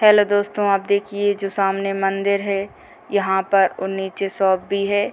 Hello दोस्तों आप देखिये ये जो सामने मंदिर है नीचे शॉप भी हैं।